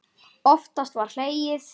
Oftast var hlegið.